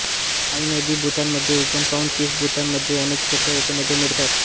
आइ नदी भूतानमध्ये उगम पावून तीस भूतान मध्ये अनेक छोट्या उपनद्या मिळतात